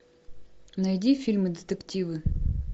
найди фильмы детективы